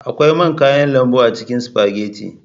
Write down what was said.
Akwai man kayan lambu a cikin spaghetti.